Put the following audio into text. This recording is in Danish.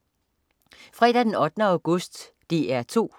Fredag den 8. august - DR 2: